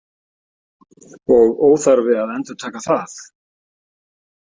Og óþarfi að endurtaka það.